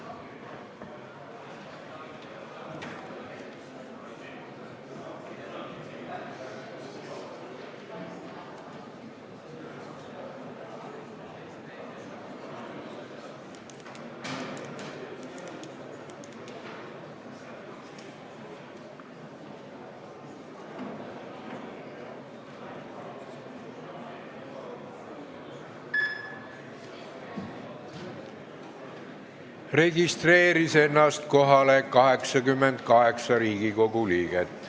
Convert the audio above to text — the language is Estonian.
Kohaloleku kontroll Kohalolijaks registreeris ennast 88 Riigikogu liiget.